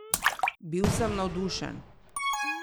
Bil sem navdušen!